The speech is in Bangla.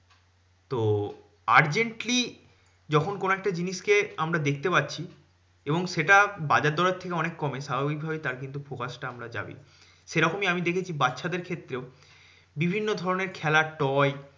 তো urgently যখন কোনো একটা জিনিসকে আমরা দেখতে পাচ্ছি এবং সেটা বাজার দরের থেকে অনেক কম মানে স্বাভাবিক ভাবেই তার কিন্তু focus টা আমরা যাবেই। সেরকমই আমি দেখেছি বাচ্চাদের ক্ষেত্রেও বিভিন্ন ধরণের খেলার toy